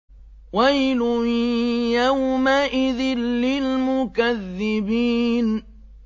وَيْلٌ يَوْمَئِذٍ لِّلْمُكَذِّبِينَ